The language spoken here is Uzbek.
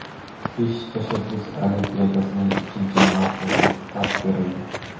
"Besh tashabbus olimpiadasi"ning ikkinchi mavsumiga start berildi!.